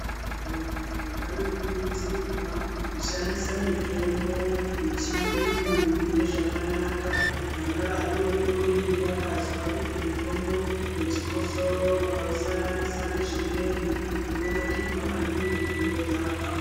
Vantu vanokurudzirwa kushandisa mitombo yechiyungu mune zvakanaka. Vana vadodori vakazwa kuti mutombo vechikosoro ukausanganisa nezvimweni unonakirwa maningi vodhakwa.